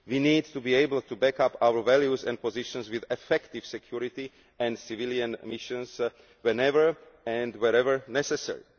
we need to be able to back up our values and positions with effective security and civilian missions whenever and wherever necessary.